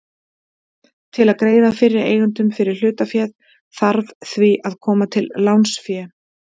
Til að greiða fyrri eigendum fyrir hlutaféð þarf því að koma til lánsfé.